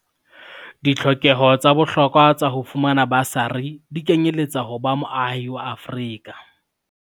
Ditlhokeho tsa bohlokwa tsa ho fumana basari di kenyeletsa ho ba moahi wa Afrika